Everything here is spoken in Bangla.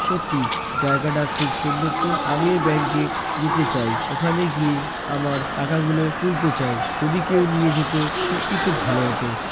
সত্যি জায়গাটা খুব সুন্দর তো আমি ওই ব্যাংক এ যেতে চাই। ওখানে গিয়ে আমার টাকাগুলো তুলতে চাই। যদি কেউ নিয়ে যেত সত্যি খুব ভালো হত।